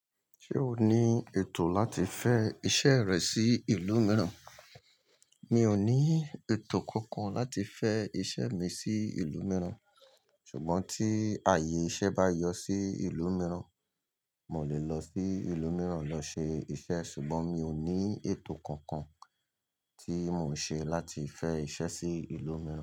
Ṣé o ní ètò láti fẹ́ iṣẹ́ rẹ sí ìlú mìíràn? Mi ò ní ètò kankan láti fẹ́ iṣẹ́ mi sí ìlú mìíràn. Ṣùgbọ́n tí ààyè iṣẹ́ bá yọ sí ìlú mìíràn, mo lè lọ sí ìlú mìíràn lọ ṣe iṣẹ́. Ṣùgbọ́n mi ò ní ètò kankan tí mò ń ṣe láti fẹ́ iṣẹ́ sí ìlú mìíràn.